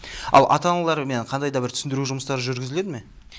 ал ата аналарымен қандай да бір түсіндіру жұмыстары жүргізіледі ме